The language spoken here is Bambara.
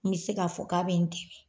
N bɛ se ka fɔ k'a bɛ n dɛmɛ.